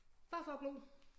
Bare for at glo